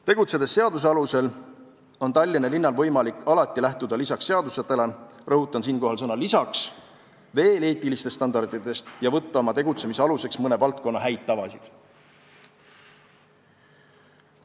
Tegutsedes seaduste alusel, on Tallinna linnal võimalik alati lähtuda lisaks seadustele – rõhutan siinkohal sõna "lisaks" – veel eetilistest standarditest ja võtta oma tegutsemise aluseks mõne valdkonna häid tavasid.